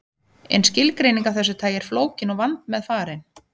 En skilgreining af þessu tagi er flókin og vandmeðfarin.